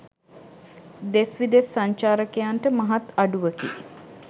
දෙස් විදෙස් සංචාරකයන්ට මහත් අඩුවකි.